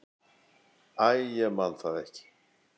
Æ, ég man það ekki.